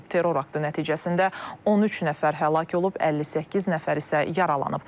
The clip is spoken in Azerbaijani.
Terror aktı nəticəsində 13 nəfər həlak olub, 58 nəfər isə yaralanıb.